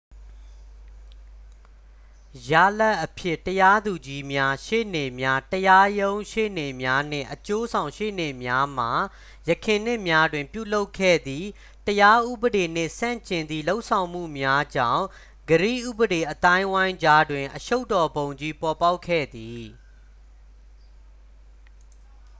ရလဒ်အဖြစ် တရားသူကြီးများ ရှေ့နေများ တရားရုံးရှေ့နေ့များနှင့် အကျိုးဆောင်ရှေ့နေများမှ ယခင်နှစ်များတွင်ပြုလုပ်ခဲ့သည့် တရားဥပဒေနှင့်ဆန့်ကျင်သည့် လုပ်ဆောင်မှုများကြောင့် ဂရိဥပဒေအသိုင်းအဝိုင်းကြားတွင်အရှုပ်တော်ပုံကြီး ပေါ်ပေါက်ခဲ့သည်